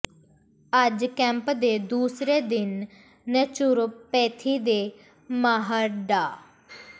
ਅੱਜ ਕੈਂਪ ਦੇ ਦੂਸਰੇ ਦਿਨ ਨੈਚੁਰੋਪੈਥੀ ਦੇ ਮਾਹਰ ਡਾ